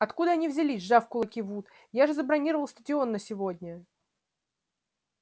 откуда они взялись сжал кулаки вуд я же забронировал стадион на сегодня